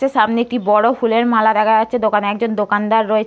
তে সামনে একটি বড়ো ফুলের মালা দেখা যাচ্ছে। দোকানে একজন দোকান্দার রয়ে--